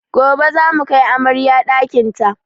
Gobe zamu kai amaryar ɗakin ta